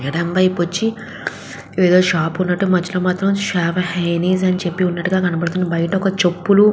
ఎడమ వైపు వచ్చి ఏదో షాప్ ఉన్నట్టు మధ్యలో మాత్రం షావా హైనీస్ అని చెప్పి ఉన్నట్టుగా కనపడతుంది. బయట ఒక చెప్పులు --